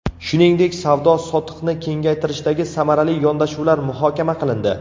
Shuningdek, savdo-sotiqni kengaytirishdagi samarali yondashuvlar muhokama qilindi.